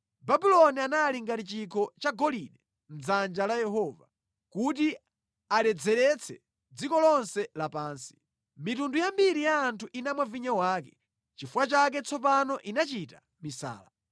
Babuloni anali ngati chikho cha golide mʼdzanja la Yehova; kuti aledzeretse dziko lonse lapansi. Mitundu yambiri ya anthu inamwa vinyo wake; nʼchifukwa chake tsopano inachita misala.